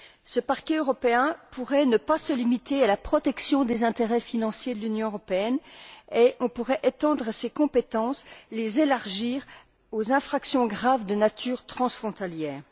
Ce parquet européen pourrait ne pas se limiter à la protection des intérêts financiers de l'Union européenne et voir étendre ses compétences, les élargir, aux infractions graves de nature transfrontalière.